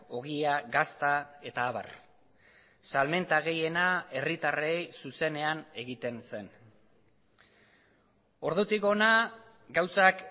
ogia gazta eta abar salmenta gehiena herritarrei zuzenean egiten zen ordutik hona gauzak